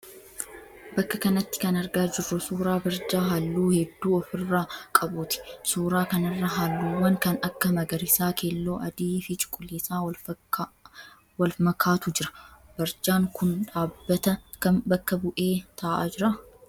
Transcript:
Bakka kanatti kan argaa jirru suuraa barjaa halluu hedduu ofi irraa qabuuti. Suuraa kanarra halluuwwan kan akka magariisaa, keeelloo, adii fi cuquliisa wal makaatu jira. Barjaan kun dhaabbata kam bakka bu'ee ta'aa jira?